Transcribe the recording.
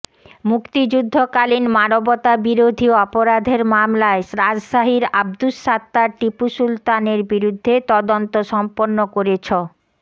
মুক্তিযুদ্ধকালীন মানবতাবিরোধী অপরাধের মামলায় রাজশাহীর আব্দুস সাত্তার টিপু সুলতানের বিরুদ্ধে তদন্ত সম্পন্ন করেছ